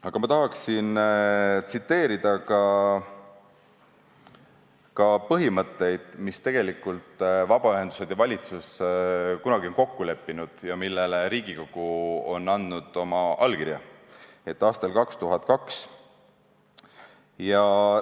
Aga ma tahaksin tsiteerida ka põhimõtteid, mis tegelikult vabaühendused ja valitsus kunagi kokku on leppinud ja millele Riigikogu on aastal 2002 andnud oma allkirja.